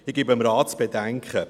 Ich gebe dem Rat zu bedenken: